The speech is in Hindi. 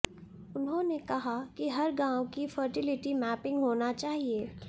उन्होंने कहा कि हर गाँव की फर्टिलिटी मैपिंग होना चाहिए